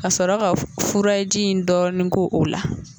Ka sɔrɔ ka furaji in dɔɔnin k'o o la